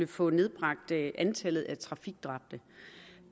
få nedbragt antallet af trafikdræbte